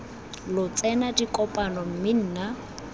lo tsena dikopano mme nna